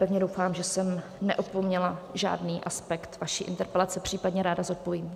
Pevně doufám, že jsem neopomněla žádný aspekt vaší interpelace, případně ráda zodpovím.